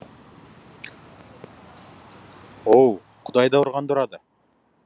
оу құдай да ұрғанды ұрады